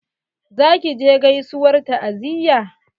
Za ki je gaisuwar ta'aziyya?